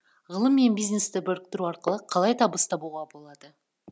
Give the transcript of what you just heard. ғылым мен бизнесті біріктіру арқылы қалай табыс табуға болады